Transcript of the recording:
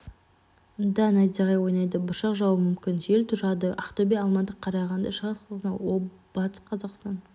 да найзағай ойнайды бұршақ жаууы мүмкін жел тұрады ақтөбе алматы қарағанды шығыс қазақстан батыс қазақстан